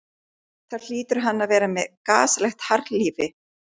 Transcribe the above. Þá hlýtur hann að vera með gasalegt harðlífi.